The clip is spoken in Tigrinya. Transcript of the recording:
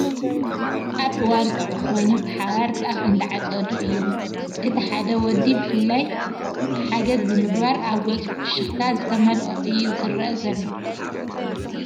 ኣብ እዋ ቀውዒ ኮይኑ ብሓባር ጣፍ እንዳዓፀዱ እዩም፤ እቲ ሓደ ወዲ ብፈላይ ሓገዝ ብምግባር ኣብ ገፁ ፍክሽታ ዝተመለኦ እዩ ዝረኣ ዘሎ።